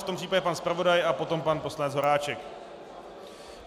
V tom případě pan zpravodaj a potom pan poslanec Voráček.